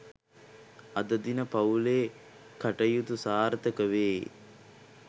අද දින පවු‍ලේ කටයුතු සාර්ථක වේ